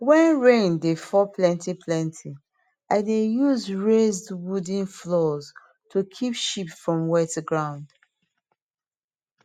when rain dey fall plenty plenty i dey use raised wooden floors to keep sheep from wetground